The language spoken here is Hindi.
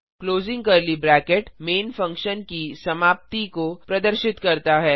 closing curly bracket main function की समाप्ति को प्रदर्शित करता है